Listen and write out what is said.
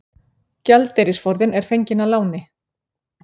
Gjaldeyrisforðinn er fenginn að láni